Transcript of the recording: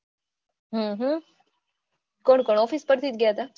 હમ કોણ કોણ office પરથી જ ગયા હતા